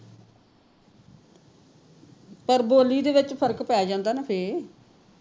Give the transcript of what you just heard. ਪਰ ਬੋਲੀ ਦੇ ਵਿਚ ਫਰਕ ਪੈ ਜਾਂਦਾ ਨਾ ਤੇ